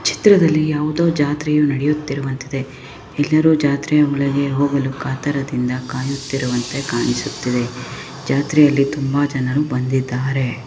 ಈ ಚಿತ್ರದಲ್ಲಿ ಯಾವುದೊ ಜಾತ್ರೆ ನಡೆಯುವಂತಿದೆ. ಎಲ್ಲರು ಜಾತ್ರೆಯ ಒಳಗೆ ಹೋಗಲು ಕಾತುರದಿಂದ ಕಾಯುತ್ತಿರುವಂತೆ ಕಾಣಿಸುತ್ತಿದೆ ಜಾತ್ರೆಯಲ್ಲಿ ತುಂಬಾ ಜನರು ಬಂದಿದ್ದಾರೆ.